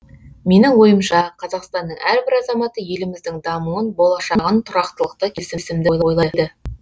менің ойымша қазақстанның әрбір азаматы еліміздің дамуын болашағын тұрақтылықты келісімді ойлайды